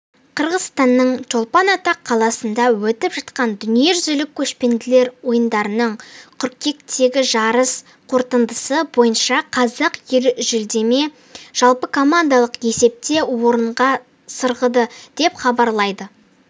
қырғызстанның чолпан-ата қаласында өтіп жатқан дүниежүзілік көшпенділер ойындарының қыркүйектегіжарыс қорытындысы бойынша қазақ елі жүлдемен жалпыкомандалық есепте орынға сырғыды деп хабарлайды